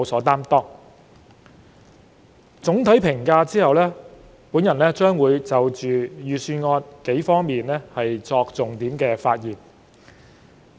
在作出總體評價後，我會就預算案的數個重點發言。